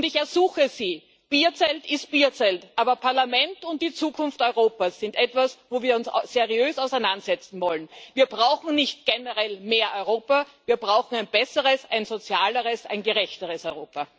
Und ich ersuche Sie Bierzelt ist Bierzelt, aber das Parlament und die Zukunft Europas sind etwas, womit wir uns seriös auseinandersetzen wollen. Wir brauchen nicht generell mehr Europa wir brauchen ein besseres, ein sozialeres, ein gerechteres Europa.